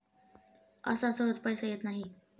असा सहज पैसा येत नाही.